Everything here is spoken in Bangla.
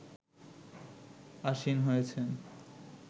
আসীন হয়েছেন